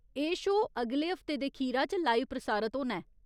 एह् शो अगले हफ्ते दे खीरा च लाइव प्रसारत होना ऐ।